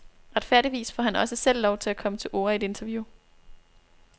Retfærdigvis får han også selv lov til at komme til orde i et interview.